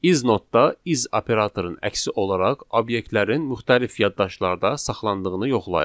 Is notda is operatorun əksi olaraq obyektlərin müxtəlif yaddaşlarda saxlandığını yoxlayır.